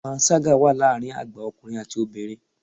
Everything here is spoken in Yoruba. Panṣágà wà láàárín àgbà ọkùnrin àti obìnrin.